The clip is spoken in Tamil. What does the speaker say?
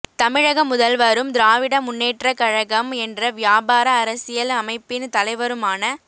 தமிழக முதல்வரும் திராவிட முன்னேற்றக் கழகம் என்ற வியாபார அரசியல் அமைப்பின் தலைவருமான மு